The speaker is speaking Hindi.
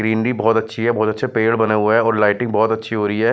ग्रीनरी बहुत अच्छी है बहुत अच्छे पेड़ बने हुए हैं और लाइटिंग बहुत अच्छी हो रही है।